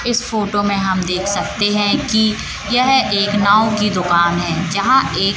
इस फोटो में हम देख सकते हैं कि यह एक नाव की दुकान है। जहां एक--